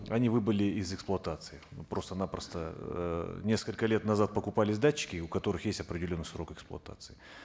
они выбыли из эксплуатации просто напросто эээ несколько лет назад покупались датчики у которых есть определенный срок эскплуатации